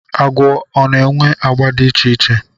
Agwọ ọ na-enwe agba dị iche iche.